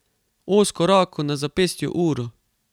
Ozko roko, na zapestju uro.